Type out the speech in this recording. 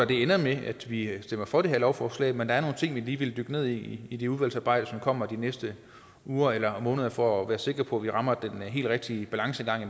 det ender med at vi stemmer for det her lovforslag men der er nogle ting vi lige vil dykke ned i i det udvalgsarbejde som kommer de næste uger eller måneder for at være sikre på at vi rammer den helt rigtige balance